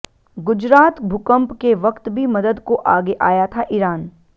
गुजरात भूकंप के वक्त भी मदद को आगे आया था ईरान